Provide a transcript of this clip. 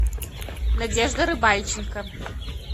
надежда рыбальченко